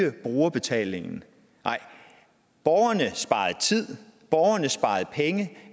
øge brugerbetalingen nej borgerne sparede tid borgerne sparede penge